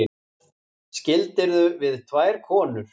Skildirðu við tvær konur?